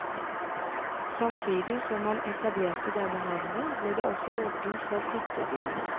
Samtidig som man etablerte denne havna ble det også åpnet for hyttebygging.